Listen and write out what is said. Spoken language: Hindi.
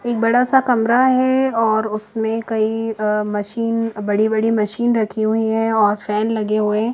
एक बड़ा सा कमरा है और उसमे कई अः मशीन बड़ी-बड़ी मशीन रखी हुई है और फैन लगे हुए है।